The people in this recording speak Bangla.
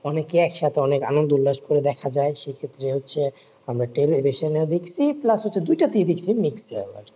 অনেকে এক সাথে অনেক আনন্দ উল্লাস করে দেখা যায় সে ক্ষেত্রে হচ্ছে আমরা টেলিভিশনে দেখছি plus দুটাতে দেখছি mixture